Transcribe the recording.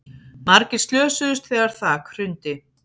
Margir slösuðust þegar þak hrundi